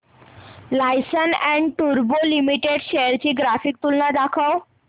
Larsen and टुर्बो limited shares ची graphical तुलना दाखव